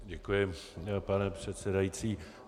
Děkuji, pane předsedající.